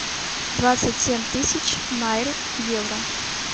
двадцать семь тысяч найр в евро